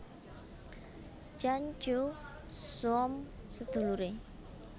Tjan Tjoe Som seduluré